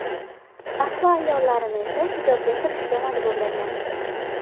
Ahli ayollarini esa hijobga kirishga majburlagan.